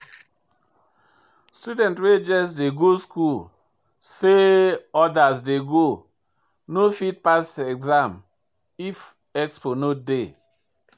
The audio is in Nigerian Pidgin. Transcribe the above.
Student wey just dey go school say others dey go no fit pass exam if expo no dey.